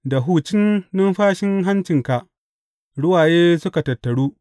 Da hucin numfashin hancinka ruwaye suka tattaru.